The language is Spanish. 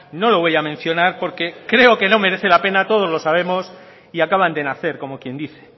no lo voy a mencionar porque creo que no merece la pena todos lo sabemos y acaban de nacer como quien dice